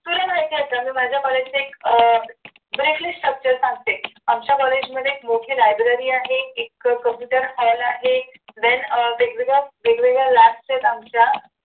तुला माहिती असेल मी माझ्या कॉलेजच्या अह briefly structure सांगते आमच्या कॉलेजमध्ये मोठी library आहे एक कबूतर hall आहे then अह वेगवेगळ्या वेगवेगळ्या आमच्या